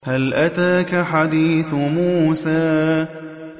هَلْ أَتَاكَ حَدِيثُ مُوسَىٰ